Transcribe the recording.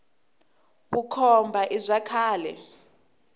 vukhomba i bya khale